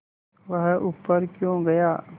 वह ऊपर क्यों गया